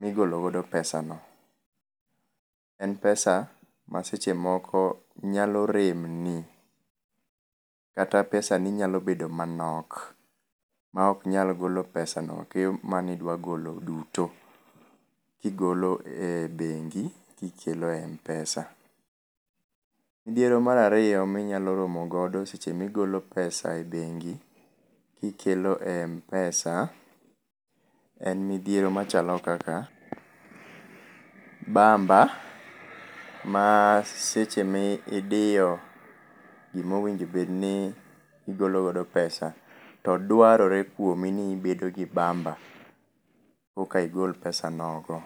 migolo godp pesa no. En pesa ma seche moko nyalo rem ni kata pesani nyalo bedo manok maok nyal golo pesano manidwa golo duto kigolo e bengi kikelo e Mpesa. Midhiero mar ariyo minyalo bedo godo seche migolo pesa e bengi kiketo e Mpesa en bamba ma sechemi diyo gima owinjo obedni igolo godo pesa to dwarorore kuomi ni ibedo gi bamba koka igol pesa nogo.